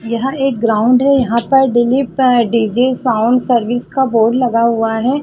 यहाँ एक ग्राउंड है यहाँ पर दिलीप डी.जे साउंड सर्विस का बोर्ड लगा हुआ हैं।